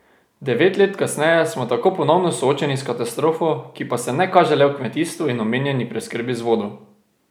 Devet let kasneje smo tako ponovno soočeni s katastrofo, ki pa se ne kaže le v kmetijstvu in omejeni preskrbi z vodo.